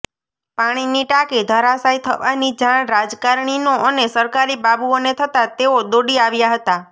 પાણીની ટાંકી ધરાશાય થવાની જાણ રાજકારણીનો અને સરકારી બાબુઓને થતા તેઓ દોડી આવ્યા હતા